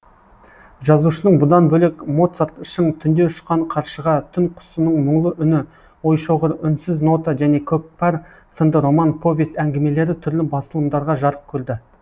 жазушының бұдан бөлек моцарт шың түнде ұшқан қаршыға түн құсының мұңлы үні ойшоғыр үнсіз нота және көкпар сынды роман повесть әңгімелері түрлі басылымдарда жарық көрді